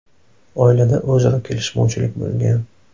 Oilada o‘zaro kelishmovchilik bo‘lgan.